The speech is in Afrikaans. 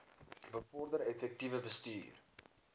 bevorder effektiewe bestuur